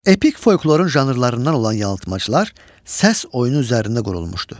Epik folklorun janrlarından olan yalıtmacılar səs oyunu üzərində qurulmuşdu.